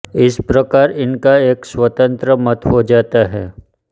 इस प्रकार इनका एक स्वतंत्र मत हो जाता है